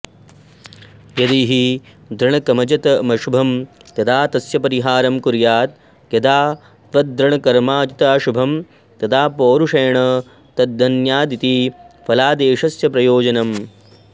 यदि हि दृढकमजतमशुभं तदा तस्य परिहारं कुर्यात् यदा त्वदृढकर्माजिताशुभं तदा पौरुषेण तद्धन्यादिति फलादेशस्य प्रयोजनम्